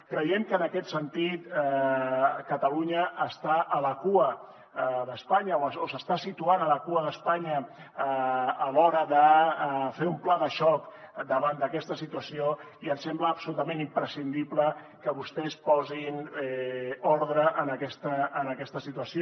creiem que en aquest sentit catalunya està a la cua d’espanya o s’està situant a la cua d’espanya a l’hora de fer un pla de xoc davant d’aquesta situació i ens sembla absolutament imprescindible que vostès posin ordre en aquesta situació